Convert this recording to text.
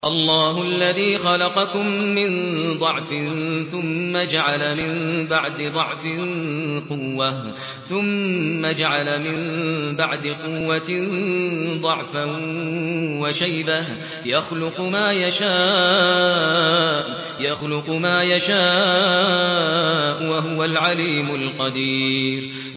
۞ اللَّهُ الَّذِي خَلَقَكُم مِّن ضَعْفٍ ثُمَّ جَعَلَ مِن بَعْدِ ضَعْفٍ قُوَّةً ثُمَّ جَعَلَ مِن بَعْدِ قُوَّةٍ ضَعْفًا وَشَيْبَةً ۚ يَخْلُقُ مَا يَشَاءُ ۖ وَهُوَ الْعَلِيمُ الْقَدِيرُ